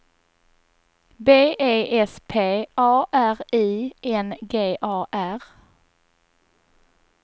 B E S P A R I N G A R